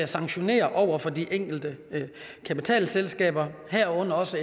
sanktionere over for de enkelte kapitalselskaber herunder også